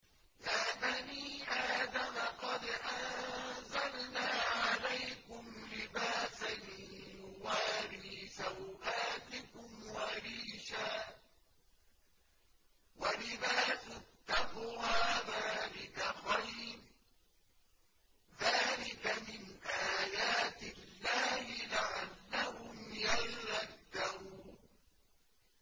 يَا بَنِي آدَمَ قَدْ أَنزَلْنَا عَلَيْكُمْ لِبَاسًا يُوَارِي سَوْآتِكُمْ وَرِيشًا ۖ وَلِبَاسُ التَّقْوَىٰ ذَٰلِكَ خَيْرٌ ۚ ذَٰلِكَ مِنْ آيَاتِ اللَّهِ لَعَلَّهُمْ يَذَّكَّرُونَ